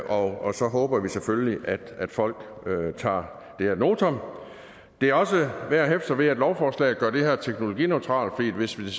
og så håber vi selvfølgelig at folk tager det ad notam det er også værd at hæfte sig ved at lovforslaget gør det her teknologineutralt fordi hvis vi